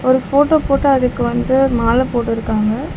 ஒரு போட்டோ போட்டு அதுக்கு வந்து மால போட்ருக்காங்க.